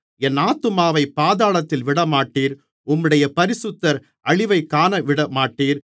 என் ஆத்துமாவைப் பாதாளத்தில் விடமாட்டீர் உம்முடைய பரிசுத்தர் அழிவைக் காணவிடமாட்டீர்